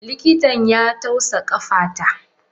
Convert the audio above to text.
Likitan ya tausa kafata.